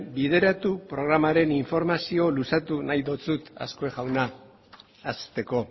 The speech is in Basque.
bideratu programaren informazioa luzatu nahi dizut azkue jauna hasteko